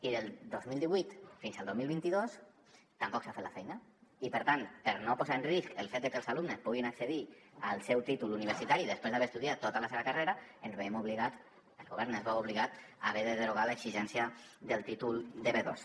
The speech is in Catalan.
i del dos mil divuit fins al dos mil vint dos tampoc s’ha fet la feina i per tant per no posar en risc el fet de que els alumnes puguin accedir al seu títol universitari després d’haver estudiat tota la seva carrera ens veiem obligats el govern es veu obligat a haver de derogar l’exigència del títol de b2